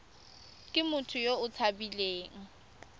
ke motho yo o tshabileng